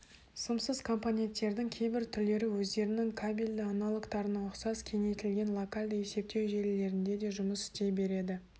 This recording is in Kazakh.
сымсыз компоненттердің кейбір түрлері өздерінің кабельді аналогтарына ұқсас кеңейтілген локальды есептеу желілерінде де жұмыс істей береді